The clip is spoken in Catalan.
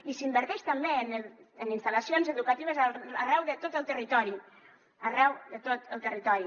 i s’inverteix també en instal·lacions educatives arreu de tot el territori arreu de tot el territori